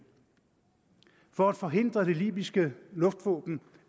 for at forhindre at det libyske luftvåben